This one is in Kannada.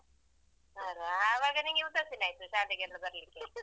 ಅಲ್ಲಾ ಆವಾಗ ನಿನ್ಗೆ ಉದಾಸೀನ ಇತ್ತು ಶಾಲೆಗೆಲ್ಲ ಬರ್ಲಿಕ್ಕೆ.